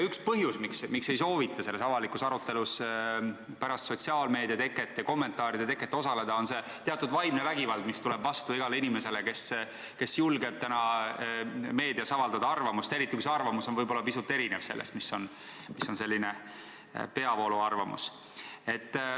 Üks põhjusi, miks ei soovita avalikus arutelus pärast sotsiaalmeedia ja kommentaaride teket osaleda, on see teatud vaimne vägivald, mis tuleb vastu igale inimesele, kes julgeb täna meedias avaldada arvamust, eriti kui see arvamus võib-olla pisut erineb sellest, mis on selline peavooluarvamus.